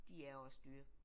De er også dyre